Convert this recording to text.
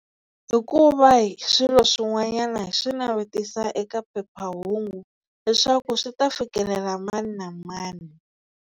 Hi ku va hi swilo swin'wanyana hi swi navetisa eka phephahungu leswaku swi ta fikelela mani na mani.